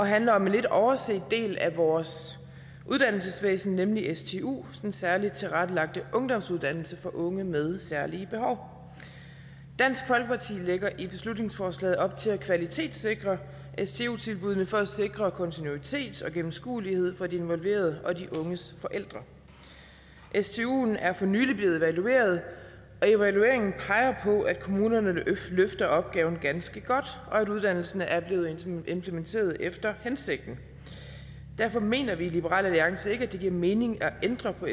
og handler om en lidt overset del af vores uddannelsesvæsen nemlig stu den særligt tilrettelagte ungdomsuddannelse for unge med særlige behov dansk folkeparti lægger i beslutningsforslaget op til at kvalitetssikre stu tilbuddene for at sikre kontinuitet og gennemskuelighed for de involverede og de unges forældre stuen er for nylig blevet evalueret og evalueringen peger på at kommunerne løfter opgaven ganske godt og at uddannelsen er blevet implementeret efter hensigten derfor mener vi i liberal alliance ikke at det giver mening at ændre på